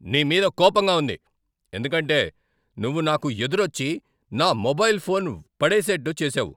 నీ మీద కోపంగా ఉంది ఎందుకంటే నువ్వు నాకు ఎదురొచ్చి నా మొబైల్ ఫోన్ పడేసేట్టు చేసావు.